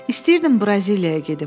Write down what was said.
İstəyirdim Braziliyaya gedim.